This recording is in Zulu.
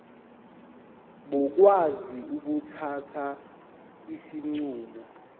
bakwazi ukuthatha izinqumo